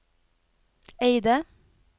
Eide